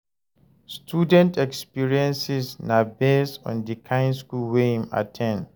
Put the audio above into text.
Student experiences na based on di kind school wey im at ten d